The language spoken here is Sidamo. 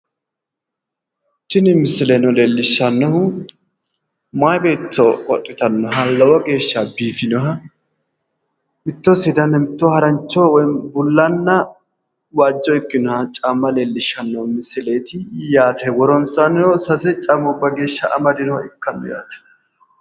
Tini misileno leellishshannohu mayi beetto qodhitannoha lowo geeshsha biifinoha mitto seedanna mitto harancho woyiimmi bullanna waajjo ikkinoha caamma leellishshanno yaate woronsaannino sase geeshsha amadeyooha ikkanno yaate